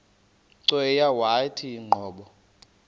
cweya yawathi qobo